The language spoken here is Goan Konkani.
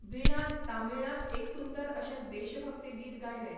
विणान तामीळांत एक सुंदर अशें देशभक्ती गीतगायलें.